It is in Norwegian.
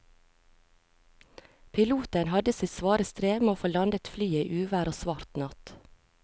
Piloten hadde sitt svare strev med å få landet flyet i uvær og svart natt.